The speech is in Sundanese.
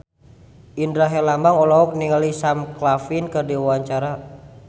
Indra Herlambang olohok ningali Sam Claflin keur diwawancara